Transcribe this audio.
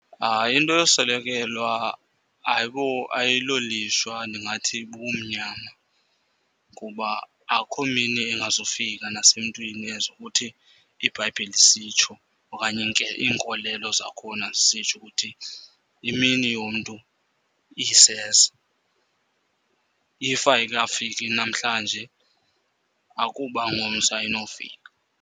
Hayi, into yoswelekelwa ayilolishwa, ndingathi bubumnyama. Kuba akho mini ingazufika nasemntwini as ukuthi iBhayibhile isitsho okanye iinkolelo zakhona zisitsho ukuthi imini yomntu iseza. If ayikafiki namhlanje akuba ngomso ayinofika.